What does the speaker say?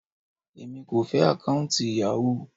Èmi kò fẹ́ àkọ́ùntì Yahoo.